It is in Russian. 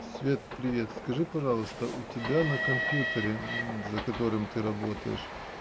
свет привет скажи пожалуйста у тебя на компьютере за которым ты работаешь